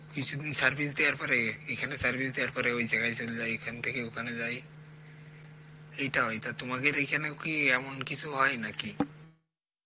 কিছুদিন service দেয়ার পরে এখানে service দেয়ার পরে ওই জায়গায় চলযায়, এখান থেকে ওখানে যায় এইটা হয়. তা তোমাদের এখানেও কি এমন কিছু হয় নাকি?